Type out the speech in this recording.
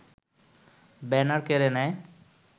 banner কেড়ে নেয়